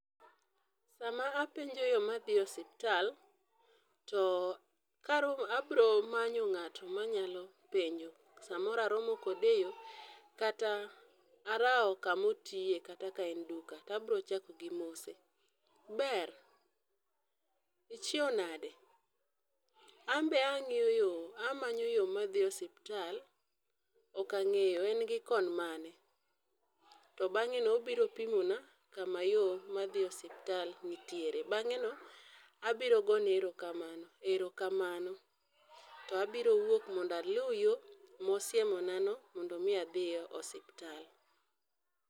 Sama apenjo yo madhi osiptal to abromanyo ng'ato manyalo penjo samoro aromo kode e yo, kata arawo kamotiye kata ka en duka tabrochako gi mose. Achieng: Ber, ichiewo nade, ambe amanyo yo madhi osiptal okang'eyo, en gi kon mane. To bang'eno obiro pimona kama yo madhi osiptal nitiere, bang'e no abiro gone erokamano. Achieng: Erokamano. To abiro wuok mondo alu yo mosiemonano mondo omi adhiyo osiptal.